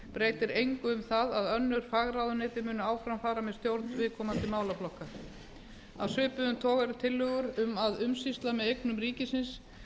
breytir engu um það að önnur fagráðuneyti munu áfram fara með stjórn viðkomandi málaflokka af svipuðum toga eru tillögur um að umsýsla með eignum ríkisins